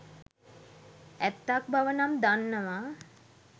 ඇත්තක් බව නම් දන්නවා.